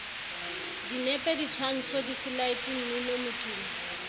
dinepe ditshwantsho diselaete mmino modumo